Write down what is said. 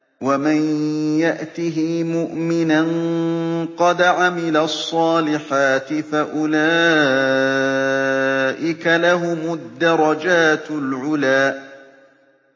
وَمَن يَأْتِهِ مُؤْمِنًا قَدْ عَمِلَ الصَّالِحَاتِ فَأُولَٰئِكَ لَهُمُ الدَّرَجَاتُ الْعُلَىٰ